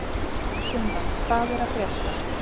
Sunna, hvað er að frétta?